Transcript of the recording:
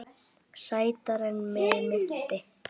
Sætari en mig minnti.